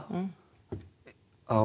á